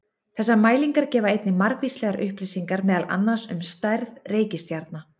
Þessar mælingar gefa einnig margvíslegar upplýsingar meðal annars um stærð reikistjarna.